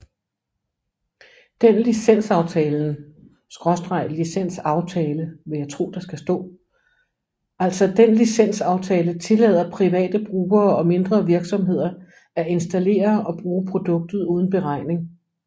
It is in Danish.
Den licensaftalen tillader private brugere og mindre virksomheder at installere og bruge produktet uden beregning